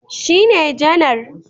Shi ne janar